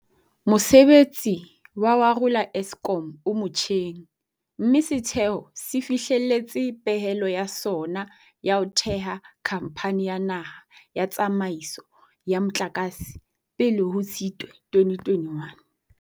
Mosebetsi wa ho arola Eskom o motjheng, mme setheo se fihlelletse pehelo ya sona ya ho theha Khamphani ya Naha ya Tsa maiso ya Motlakase pele ho Tshitwe 2021.